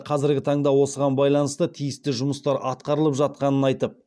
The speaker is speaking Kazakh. қазіргі таңда осыған байланысты тиісті жұмыстар атқарылып жатқанын айтып